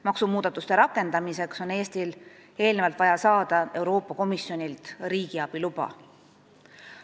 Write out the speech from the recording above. Maksumuudatuste rakendamiseks on Eestil vaja saada Euroopa Komisjonilt riigiabiluba.